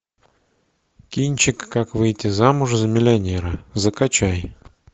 кинчик как выйти замуж за миллионера закачай